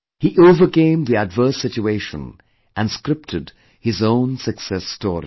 He overcame the adverse situation and scripted his own success story